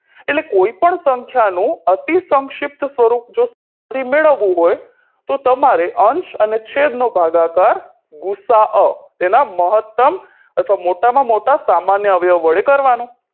એટલે કોઈ પણ સંખ્યાનો અતિસંક્ષિપ્ત સ્વરૂપ જો મેળવવું હોય તો તમારે અંશ અને છેદનો ભાગાકાર ગુસાઅ તેના મહતમ અથવા મોટામાં મોટા સામાન્ય અવ્યવ વડે કરવાનો